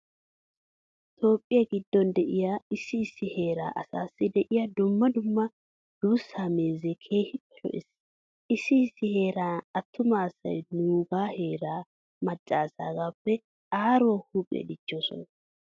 Toophphiya giddon de'iya issi issi heeraa asaassi de'iya dumma dumma duussaa meezee keehippe lo"ees. Issi issi heeran attuma asay nuugaa heeraa macca asaagaappe aaruwa huuphiya dichchoosona.